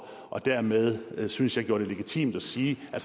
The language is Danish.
og dermed synes jeg gjorde det legitimt at sige at